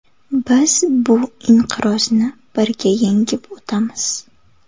Biz bu inqirozni birga yengib o‘tamiz.